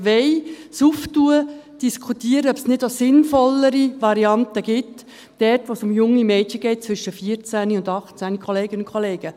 Wir wollen es öffnen und diskutieren, ob es nicht noch sinnvollere Varianten gibt, wenn es um junge Mädchen zwischen 14 und 18 Jahren geht.